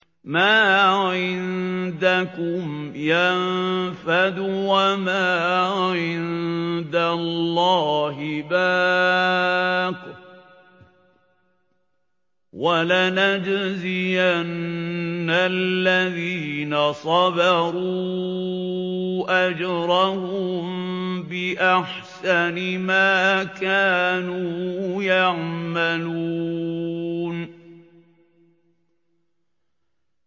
مَا عِندَكُمْ يَنفَدُ ۖ وَمَا عِندَ اللَّهِ بَاقٍ ۗ وَلَنَجْزِيَنَّ الَّذِينَ صَبَرُوا أَجْرَهُم بِأَحْسَنِ مَا كَانُوا يَعْمَلُونَ